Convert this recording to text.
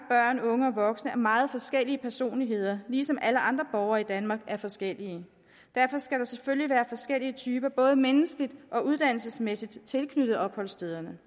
unge og voksne er meget forskellige personligheder ligesom alle andre borgere i danmark er forskellige derfor skal der selvfølgelig være forskellige typer både menneskeligt og uddannelsesmæssigt tilknyttet opholdsstederne